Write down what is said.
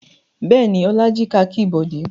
Bẹ́ẹ̀ ni, Ọlá jí kakí Bọ̀dé.